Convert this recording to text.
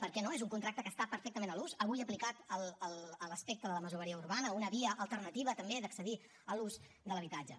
per què no és un contracte que està perfectament en ús avui aplicat a l’aspecte de la masoveria urbana una via alternativa també d’accedir a l’ús de l’habitatge